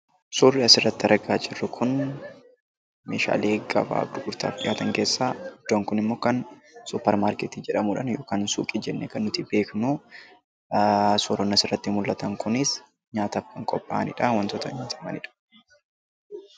Suurri asirratti argaa jirru Kun, Meeshaalee gabaaf gurgurtaaf dhihaatan keessaa iddoon Kun immoo suupermaarkeetii jedhamuun yookaan suuqii jennee kan nuti beeknu. suuraan asirratti mul'atan kunis nyaataaf kan qophaa'anidha, waantota nyaatamanidha.